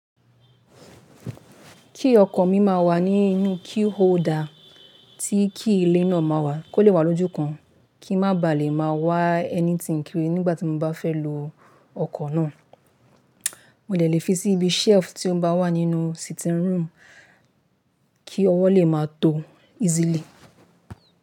Key ọkọ̀ mi ma wà nínú key holder tí kí ilé náà ma wà kó lè wà lójúkan kí n má baà lè máa wá ẹni tí n kiri nígbà tí mo bá fẹ́ lo ọkọ̀ náà. Mó dè lè fi sí ibí shelf tí ó bá wà nínú sitting room kí ọwọ́ lè máa tó easily.